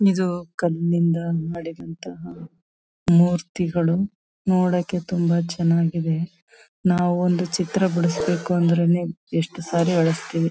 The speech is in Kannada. ಇದು ಕಲ್ನಿಂದ ಮಾಡಿದಂತಹ ಮೂರ್ತಿಗಳು ನೋಡಕ್ಕೆ ತುಂಬಾ ಚನ್ನಾಗಿದೆ ನಾವು ಒಂದು ಚಿತ್ರ ಬಿಡ್ಸ್ಬೇಕು ಅಂದ್ರೇನೆ ಎಷ್ಟು ಸಾರಿ ಅಳುಸ್ತೀವಿ .